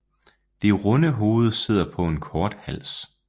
Det runde hoved sidder på en kort hals